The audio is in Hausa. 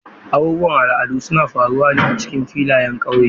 Abubuwan al'adu suna faruwa a cikin filayen ƙauye.